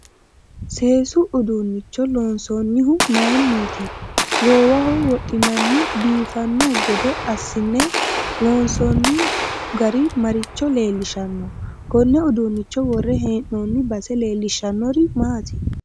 Seesu uduunicho loonsoonihu mayiiniti goowaho wodhinanni biifanno gede asin'ne loonsooni gari maricho leelishanno konne uduunicho worre hee'nooni base leelishannori maati